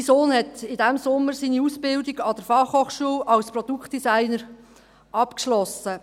Mein Sohn hat in diesem Sommer seine Ausbildung an der Fachhochschule als Produktdesigner abgeschlossen.